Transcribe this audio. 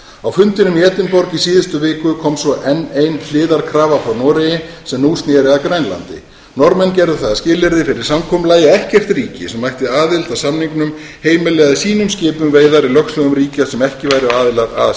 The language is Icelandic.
á fundinum í edinborg í síðustu viku kom svo enn ein hliðarkrafan frá noregi sem nú sneri að grænlandi norðmenn gerðu það að skilyrði fyrir samkomulagi að ekkert ríki sem ætti aðild að samningnum heimilaði sínum skipum veiðar í lögsögum ríkja sem ekki væru aðilar að